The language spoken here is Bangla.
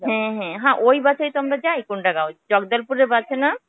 হম হম . হ্যাঁ ওই bus এই তো যাই. কুন্দাগাঁও. জগদলপুর bus এ না?